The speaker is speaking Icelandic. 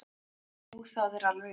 Jú það er alveg rétt.